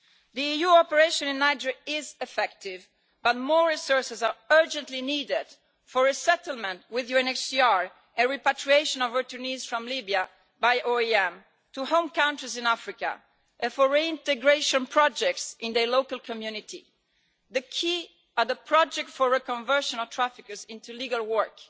The EU operation in Niger is effective, but more resources are urgently needed for resettlement with UNHCR and repatriation of returnees from Libya by OIM to home countries in Africa, and for reintegration projects in their local communities. Key are the projects for reconversion of traffickers into legal work,